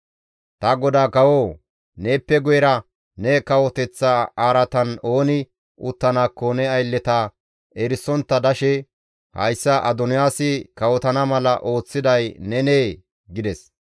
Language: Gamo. Ta godaa kawoo! Neeppe guyera ne kawoteththa araatan ooni uttanaakko ne aylleta erisontta dashe hayssa Adoniyaasi kawotana mala ooththiday nenee?» gides.